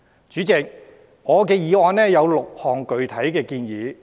主席，我的議案有6項具體建議。